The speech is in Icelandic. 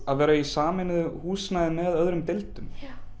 að vera í sameiginlegu húsnæði með öðrum deildum